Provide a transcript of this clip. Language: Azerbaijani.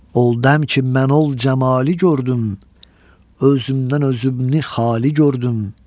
Oldəm ki mən ol cəmalı gördüm, özümdən özümü xali gördüm.